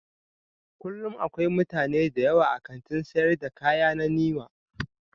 Kullum akwai mutane da yawa a kantin sayar da kaya na Niwa